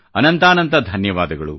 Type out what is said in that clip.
ಅನಂತಾನಂತ ಧನ್ಯವಾದ |